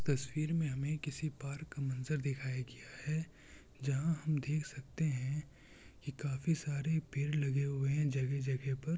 तस्वीर में हमें किसी पार्क का मंज़र दिखाया गया है जहाँ हम देख सकते हैं की काफी सारे पेड़ लगे हुए हैं जगह-जगह पर।